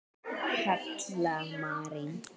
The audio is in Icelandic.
Halla María.